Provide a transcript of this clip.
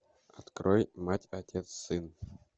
открой мать отец сын